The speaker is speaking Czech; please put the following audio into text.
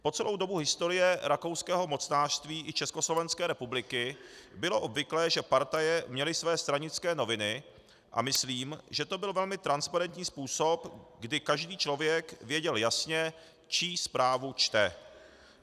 Po celou dobu historie rakouského mocnářství i Československé republiky bylo obvyklé, že partaje měly své stranické noviny, a myslím, že to byl velmi transparentní způsob, kdy každý člověk věděl jasně, čí zprávu čte.